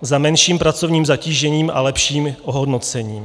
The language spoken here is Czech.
za menším pracovním zatížením a lepším ohodnocením.